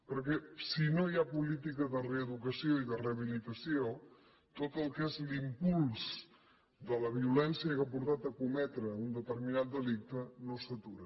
perquè si no hi ha política de reeducació i de rehabilitació tot el que és l’impuls de la violència que ha portat a cometre un determinat delicte no s’atura